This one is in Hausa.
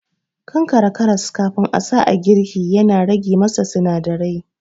Kankare karas kafin a sa a girki yana rage masa sinadarai